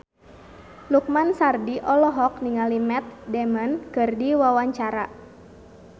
Lukman Sardi olohok ningali Matt Damon keur diwawancara